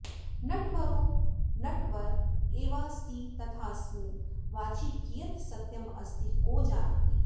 नटवरो नटवर एवास्ति तथास्मिन् वाचि कियत् सत्यमस्ति को जानाति